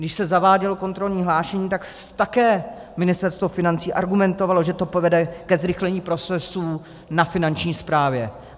Když se zavádělo kontrolní hlášení, tak také Ministerstvo financí argumentovalo, že to povede ke zrychlení procesů na Finanční správě.